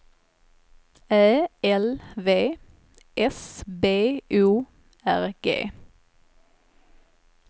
Ä L V S B O R G